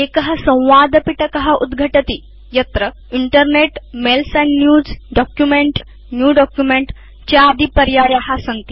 एक संवादपिटक उद्घटति यस्मिन् internetमेल्स् एण्ड newsडॉक्युमेंट New डॉक्युमेंट चादिपर्याया सन्ति